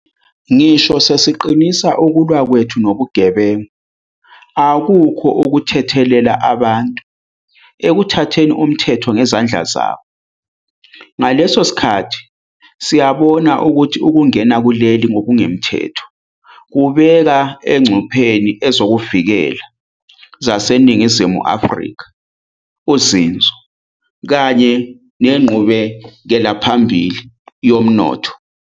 Ngisho sesiqinisa ukulwa kwethu nobugebengu, akukho ukuthethelela abantu ekuthatheni umthetho ngezandla zabo. Ngaso leso sikhathi, siyabona ukuthi ukungena kuleli ngokungemthetho kubeka engcupheni ezokuvikela zaseNingizimu Afrika, uzinzo kanye nenqubekelaphambili yomnotho.